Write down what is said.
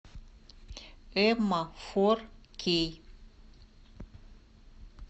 эмма фор кей